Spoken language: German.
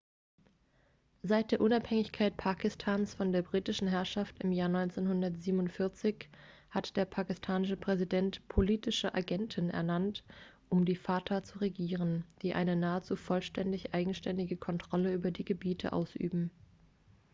seit der unabhängigkeit pakistans von der britischen herrschaft im jahr 1947 hat der pakistanische präsident politische agenten ernannt um die fata zu regieren die eine nahezu vollständig eigenständige kontrolle über die gebiete ausüben